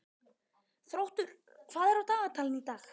Þróttur, hvað er á dagatalinu í dag?